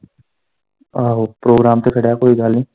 ਆਹੋ ਪ੍ਰੋਗਰਾਮ ਤੇ ਖੜਿਆ ਕੋਈ ਗੱਲ ਨੀ।